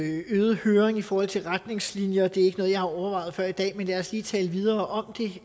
øget høring i forhold til retningslinjer det er ikke noget jeg har overvejet før i dag men lad os lige tale videre om